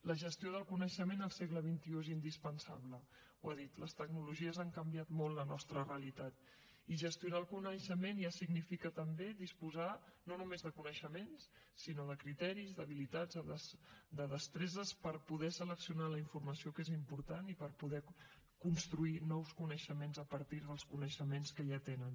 la gestió del coneixement al segle xxi és indispensable ho he dit les tecnologies han canviat molt la nostra realitat i gestionar el coneixement ja significa també disposar no només de coneixements sinó de criteris d’habilitats de destreses per poder seleccionar la informació que és important i per poder construir nous coneixements a partir dels coneixements que ja tenen